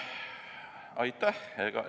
Aitäh!